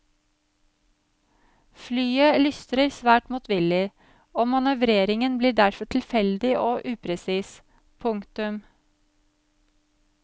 Flyet lystrer svært motvillig og manøvreringen blir derfor tilfeldig og upresis. punktum